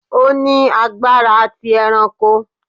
O ni agbara ti eranko